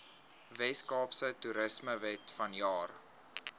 weskaapse toerismewet vanjaar